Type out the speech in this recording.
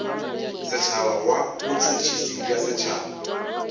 setšhaba wa botšhotšhisi bja setšhaba